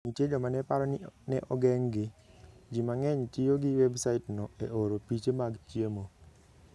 Nitie joma ne paro ni ne ogeng'gi. Ji mang'eny tiyo gi websaitno e oro piche mag chiemo.